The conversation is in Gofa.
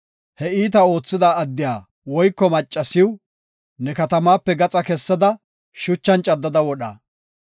he iitaa oothida addiya woyko maccasiw ne katamaape gaxa kessada, shuchan caddada wodha.